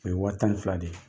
O ye waa tan ni fila de ye.